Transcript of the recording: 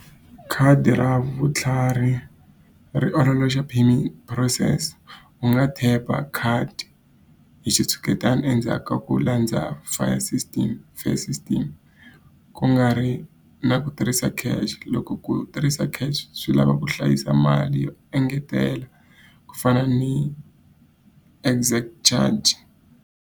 Khadi ra vutlhari ri ololoxa payment process, u nga tap-a khadi hi xitshuketana endzhaku ka ku landza ku nga ri na ku tirhisa cash. Loko ku tirhisa cash swi lava ku hlayisa mali yo engetela ku fana ni .